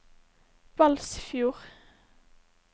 Balsfjord